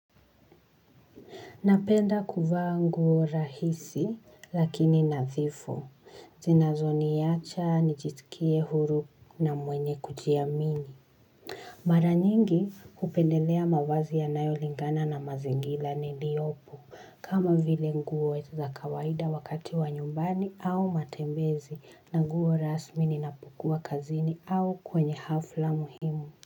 Napenda kuvaa nguo rahisi lakini nadhifu zinazoniacha nijisikie huru na mwenye kujiamini. Maranyingi hupendelea mavazi ya nayo lingana na mazingira niliopo. Kama vile nguo za kawaida wakati wa nyumbani au matembezi na nguo rasmi ninapukua kazini au kwenye hafla muhimu.